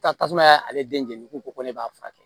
Taa tasuma y'ale den jeni ko ne b'a furakɛ